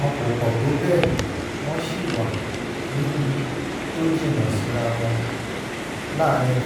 wọn kò pọ̀ tó bẹ́ẹ̀ wọ́n sì wà níbi tó jìnnà síra wọn (láàárín